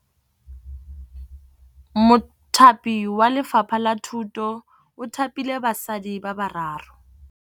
Mothapi wa Lefapha la Thutô o thapile basadi ba ba raro.